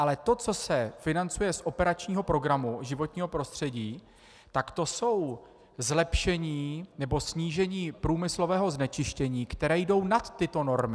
Ale to, co se financuje z operačního programu Životní prostředí, tak to jsou zlepšení nebo snížení průmyslového znečištění, která jdou nad tyto normy.